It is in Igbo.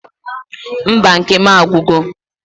Mba nke m agwugo